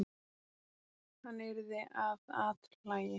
Við horfumst oft í augu þegar hann verður andaktugur í framan.